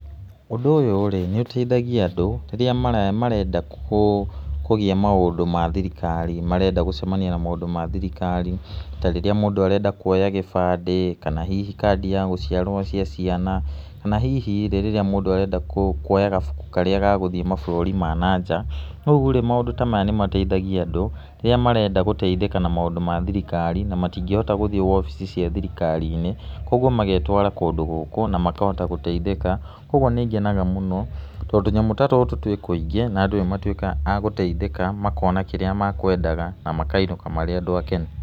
Ũndũ ũyũ-rĩ, nĩ ũteithagia andũ rĩrĩa marenda kũgĩa maũndũ ma thirikari, marenda gũcemania na maũndũ ma thirikari, ta rĩrĩa mũndũ arenda kũoya gĩbandĩ, kana hihi kandi ya gũciarwo cia ciana, kana hihi-rĩ rĩrĩa mũndũ arenda kũoya gabuku karĩa ga gũthĩe mabũrũri ma na njaa rĩurĩ maũndũ ta maya nĩmateithagia andũ, rĩrĩa marenda gũteithĩka na maũndũ ma thirikari na matingĩngĩhota gũthĩe obici cia thirikari-inĩ, kwa ũguo magetwara kũndũ gũkũ na makahota gũteithĩka kwa ũguo nĩngenaga mũno to tũnyamũ ta tũtũ twĩ kũingĩ na andũ nĩmatũĩkaga a gũteithĩka makona kĩrĩa makwendaga na makainũka marĩ andũ akenu.